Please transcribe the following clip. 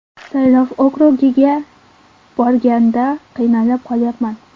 Saylov okrugiga borganda qiynalib qolyapman.